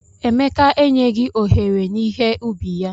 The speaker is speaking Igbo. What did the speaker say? Emeka e nyegi ohere n'ihe ubi ya.